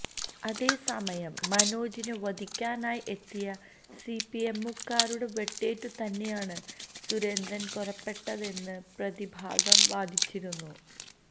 അതേ സമയം മനോജിനേ വധിക്കാനായി എത്തിയ സിപിഎമ്മുകാരുടെ വെട്ടേറ്റുതന്നേയാണ് സുരേന്ദ്രന് കൊല്ലപ്പെട്ടതെന്ന് പ്രതിഭാഗം വാദിച്ചിരുന്നു